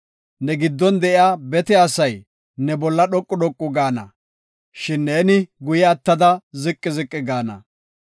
Ne giddon de7iya bete asay ne bolla dhoqu dhoqu gaana, shin ne guye attada ziqi ziqi gaana.